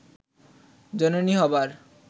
জননী হবার